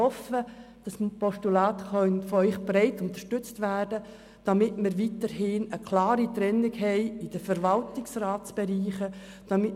Ich hoffe, dass dieses Postulat von Ihnen breit unterstützt werden kann, damit wir weiterhin eine klare Trennung zwischen den verschiedenen Verwaltungsratsbereichen haben.